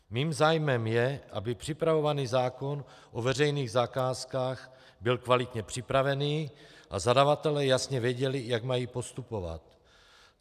Mým zájmem je, aby připravovaný zákon o veřejných zakázkách byl kvalitně připravený a zadavatelé jasně věděli, jak mají postupovat.